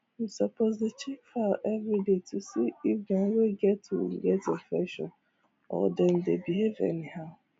you suppose dey check fowl everyday to see if dem well get wound get infection or dem dey behave anyhow